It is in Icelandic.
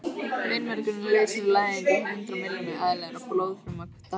Beinmergurinn leysir úr læðingi hundruð miljóna eðlilegra blóðfruma dag hvern.